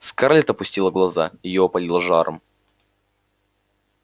скарлетт опустила глаза её опалило жаром